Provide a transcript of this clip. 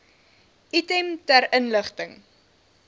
item ter inligting